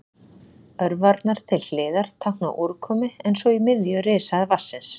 Örvarnar til hliðar tákna úrkomu en sú í miðju rishæð vatnsins.